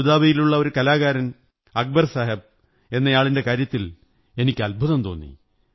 അബുദാബിയിലുള്ള ഒരു കലാകാരൻ അക്ബർ സാഹബ് എന്നയാളിന്റെ കാര്യത്തിൽ എനിക്ക് അദ്ഭുതം തോന്നി